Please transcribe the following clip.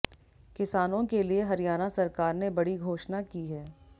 किसानों के लिए हरियाणा सरकार ने बड़ी घोषणा की है